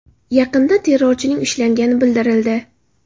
Yaqinda terrorchining ushlangani bildirildi .